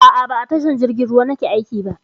A'a, ba a tashar jirgin ruwa nake aiki ba.